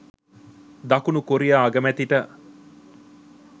දකුණු කොරියා අගමැතිට